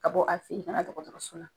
Ka bɔ a feyi ka na dɔgɔtɔrɔso la.